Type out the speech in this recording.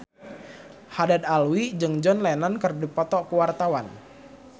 Haddad Alwi jeung John Lennon keur dipoto ku wartawan